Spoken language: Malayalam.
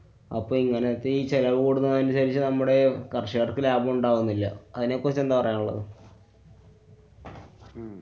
അപ്പൊ എങ്ങനത്തെ ഈ ചെലവു കൂടുന്നതിനനുസരിച്ച് നമ്മുടെ കര്‍ഷകര്‍ക്ക് ലാഭം ഉണ്ടാകുന്നില്ല. അതിനെ കുറിച്ച് എന്താ പറയാനുള്ളത്?